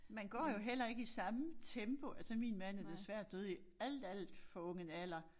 Man går jo heller ikke i samme tempo altså min mand er desværre død i alt alt for ung en alder